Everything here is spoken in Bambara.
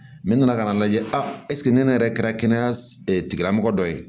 nana ka n'a lajɛ ne yɛrɛ kɛra kɛnɛya tigilamɔgɔ dɔ ye